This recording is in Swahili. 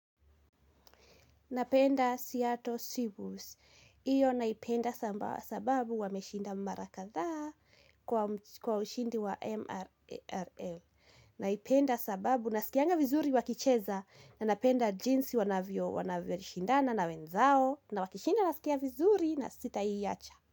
Napenda Seattle Seabuse. Hiyo naipenda sababu wameshinda mara kadhaa kwa ushindi wa MRL. Naipenda sababu nasikianga vizuri wakicheza na napenda jinsi wanavyo shindana na wenzao na wakishinda nasikia vizuri na sitawahi wacha.